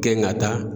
Kɛ n ka taa